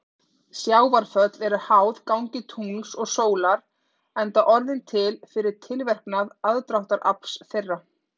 Sjávarföll eru háð gangi tungls og sólar enda orðin til fyrir tilverknað aðdráttarafls þeirra.